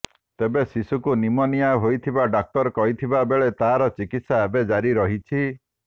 ତେବେ ଶିଶୁକୁ ନିମୋନିଆ ହୋଇଥିବା ଡାକ୍ତର କହିଥିବା ବେଳେ ତାର ଚିକିତ୍ସା ଏବେ ଜାରି ରହିଛି